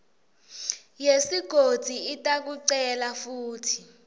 yesigodzi itakucela kutsi